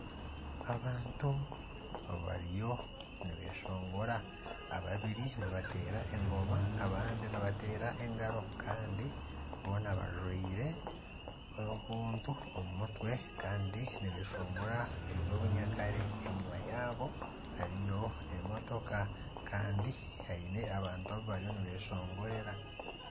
Abantu abariyo nibeshongora ababiri nibateera engooma abandi nibateera engaro kandi boona bajwaire obuntu omu mutwe kandi nibeshongora eby'obunyakare enyuma yabo hariyo emotooka kandi baine abantu abu bariyo nibeshongorera.